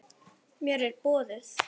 Mér er boðið.